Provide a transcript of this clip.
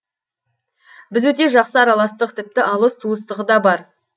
біз өте жақсы араластық тіпті алыс туыстығы да бар